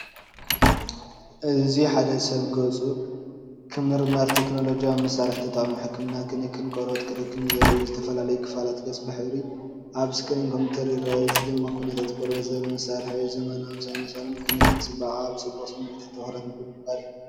እዚ ሓደ ሰብ ገጹ ክምርመርን ቴክኖሎጂካዊ መሳርሒ ተጠቒሙ ሕክምና ክንክን ቆርበት ክረክብን ዘርኢ እዩ። ዝተፈላለየ ክፋላት ገጽ ብሕብሪ ኣብ ስክሪን ኮምፒተር ይርአ፡እዚ ድማ ኩነታት ቆርበት ዘርኢ መሳርሒ እዩ። ዘመናውን ሳይንሳውን ክንክን ጽባቐ፡ኣብ ጽቡቕ ስምዒታት ትኹረት ብምግባር እዩ።